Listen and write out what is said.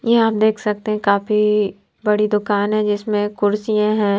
ये आप देख सकते हैं काफी बड़ी दुकान है जिसमें कुर्सियां हैं।